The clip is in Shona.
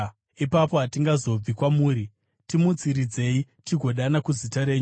Ipapo hatingazobvi kwamuri; timutsiridzei, tigodana kuzita renyu.